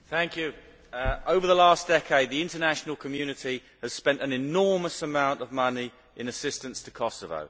Mr President, over the last decade the international community has spent an enormous amount of money in assistance to Kosovo.